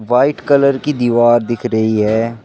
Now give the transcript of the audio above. White colour की दीवार दिख रही है।